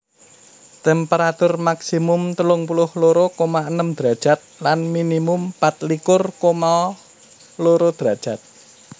Temperatur maksimum telung puluh loro koma enem derajat lan minimum pat likur koma loro derajat